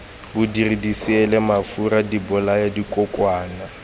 bodiri diseele mafura dibolaya dikokwana